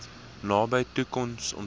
nabye toekoms ontmoet